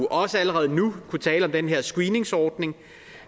også allerede nu har kunnet tale om den her screeningsordning